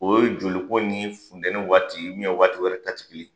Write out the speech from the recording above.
O ye joli ko ni funtɛni waati nin waati wɛrɛ ta tɛ kelen ye.